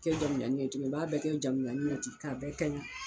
Kɛ jamujannin ye tuguni u b'a bɛɛ kɛ jamujanin ye k'a bɛɛ kaɲɛ.